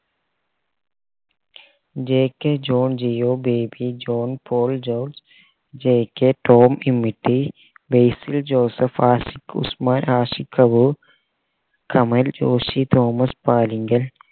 jk John Jeo Baby John Paul George jk Tom Basil Joseph Ashiq Usman Ashiq Abu Kamal Joshi Thomas Alinkal